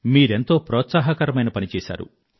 మీరెంతో ప్రోత్సాహకరమైన పని చేశారు